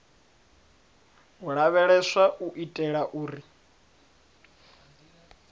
u lavheleswa u itela uri